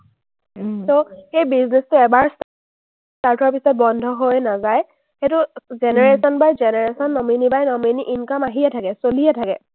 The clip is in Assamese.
সেই business টো এবাৰ start হোৱাৰ পিছত বন্ধ হৈ নাযায়। সেইটো generation by generation আহিয়েই থাকে, চলিয়েই থাকে।